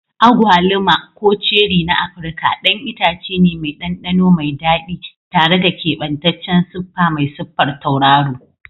Agwaluma, ko ceri na Afirka, ɗan itace ne mai ɗanɗano mai daɗi tare da keɓantaccen siffa mai siffar tauraro.